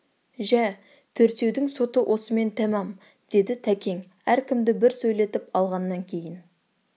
жә төртеудің соты осымен тәмам деді тәкең әркімді бір сөйлетіп алғаннан кейін